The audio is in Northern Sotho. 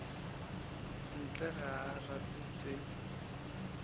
ntle ga a rate tše